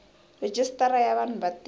rejistara ya vanhu va tiko